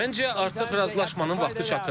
Məncə artıq razılaşmanın vaxtı çatıb.